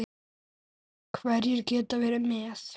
Hverjir geta verið með?